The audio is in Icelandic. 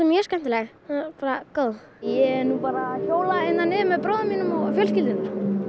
mjög skemmtileg bara góð ég er nú bara að hjóla hérna niður með bróður mínum og fjölskyldunni